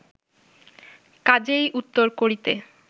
কাজেই উত্তর করিতে